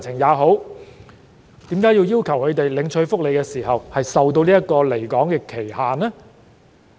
為何要求他們領取福利時須受離港期限制呢？